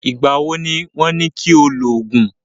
Ìgbà wo ni wọ́n ní kí o lògùn?